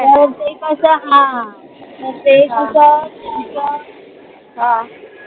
कारण ते कस हा हा